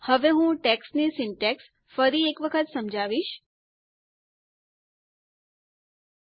હવે હું ટેક્સ્ટ ની સિન્ટેક્ષ ફરી એક વખત સમજાવવા ઈચ્છીશ